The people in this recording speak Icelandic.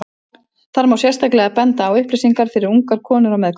Þar má sérstaklega benda á upplýsingar fyrir ungar konur á meðgöngu.